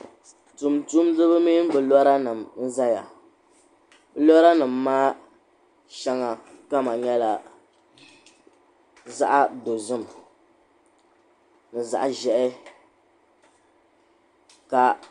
Tuuntumdiba mini bɛ loranima n-zaya loranima maa shɛŋa kama nyɛla zaɣ'dozim ni zaɣ'ʒɛhi.